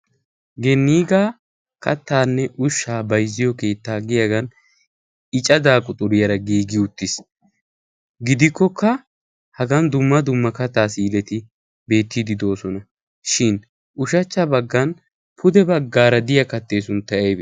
Ginikka kattaanne ushaa bayzziyo keettaa giyagan I cadaa quxxuriyara giigi uttiis. gidikkokka Hagan dumma dumma kattaa si'ileti beettiidi doosona, shin ushachcha bagan pude bagaara diya kattee sunttay aybee?